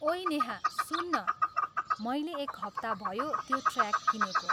ओेइ नेहा सुन् न, मैले एक हप्ता भयो त्यो ट्र्याक किनेको।